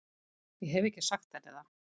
Ég hef ekki sagt henni það.